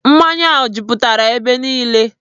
Mmanya jupụtara ebe niile.